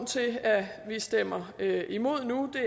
til at vi stemmer imod nu